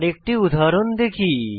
আরেকটি উদাহরণ দেখি